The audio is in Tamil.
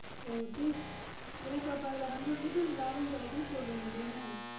ஓ எனக்கு அப்போ அதுல hundred rupees லாபம் கெடக்குது சொல்லறீங்க அப்புடித்தான